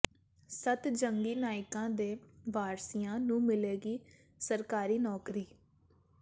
ਸੱਤ ਜੰਗੀ ਨਾਇਕਾਂ ਦੇ ਵਾਰਿਸਾਂ ਨੂੰ ਮਿਲੇਗੀ ਸਰਕਾਰੀ ਨੌਕਰੀ